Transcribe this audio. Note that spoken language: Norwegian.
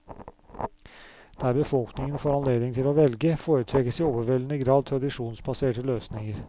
Der befolkningen får anledning til å velge, foretrekkes i overveldende grad tradisjonsbaserte løsninger.